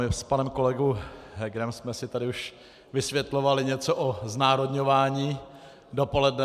My s panem kolegou Hegerem jsme si tady už vysvětlovali něco o znárodňování dopoledne.